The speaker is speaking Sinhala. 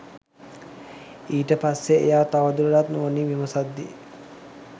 ඊට පස්සේ එයා තවදුරටත් නුවණින් විමසද්දි